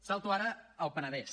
salto ara al penedès